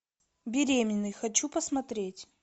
беременный хочу посмотреть